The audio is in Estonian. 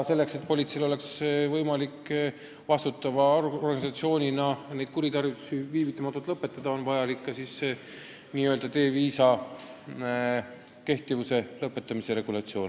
Selleks, et politseil oleks võimalik vastutava organisatsioonina neid kuritarvitusi viivitamatult lõpetada, ongi vajalik selle D-viisa tühistamise regulatsioon.